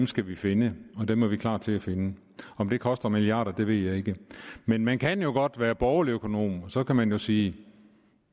skal vi finde og dem er vi klar til at finde om det koster milliarder ved jeg ikke men man kan jo godt være borgerlig økonom og så kan man sige